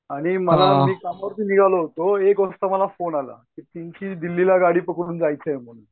आणि मला मी कामावरती निघालो होतो. एक वाजता मला फोन आला. की त्यांची दिल्लीला गाडी पकडून जायचं आहे म्हणून.